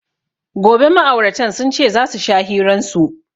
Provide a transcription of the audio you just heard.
Gobe ma'auratan sunce zasu sha hiran su